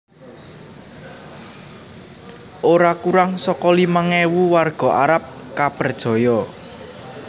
Ora kurang saka limang ewu warga Arab kapperjaya